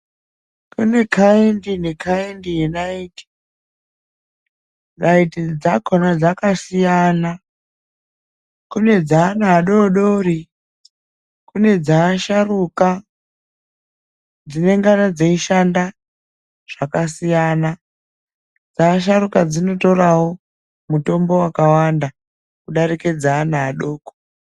Kune khaindi nekhaindi yenayiti. Nayiti dzakhona dzakasiyana. Kune dzeana adodori kune dzeasharuka dzinenge dzeishanda zvakasiyana. Dzeasharuka dzinotorawo mutombo wakawanda kudarika dzeana adoko